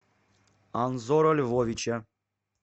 анзора львовича